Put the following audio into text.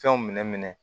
Fɛnw minɛ